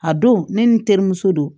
A don ne ni n terimuso don